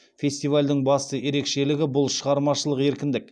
фестивальдің басты ерекшелігі бұл шығармашылық еркіндік